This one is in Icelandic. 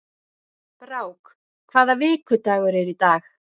Brák, hvaða vikudagur er í dag?